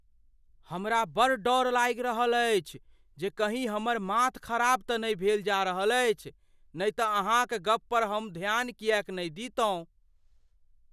हमरा बड़ डर लागि रहल अछि जे कहीं हमर माथ खराब तँ नहि भेल जा रहल अछि, नहि तऽ अहाँक गप पर हम ध्यान किएक नहि दितहुँ?